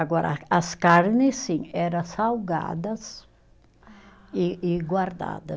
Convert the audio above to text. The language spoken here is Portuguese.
Agora, as carnes, sim, era salgadas e e guardada